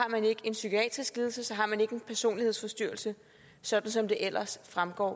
en psykiatrisk lidelse så har man ikke en personlighedsforstyrrelse sådan som det ellers fremgår af